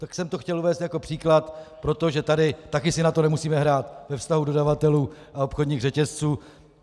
Tak jsem to chtěl uvést jako příklad, protože tady také si na to nemusíme hrát ve vztahu dodavatelů a obchodních řetězců.